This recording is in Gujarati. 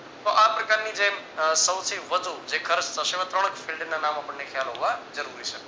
તો આ પ્રકારની જે સૌથી વધુ જે ખર્ચ થશે એવા ત્રણ fild ના નામ આપણને ખ્યાલ હોવા જરૂરી છે.